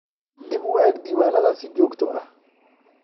Dib u eeg diiwaanadaada si joogto ah.